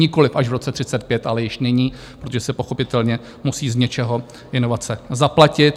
Nikoliv až v roce 2035, ale již nyní, protože se pochopitelně musí z něčeho inovace zaplatit.